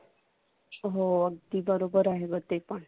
हो अगदी बरोबर आहे ते पण.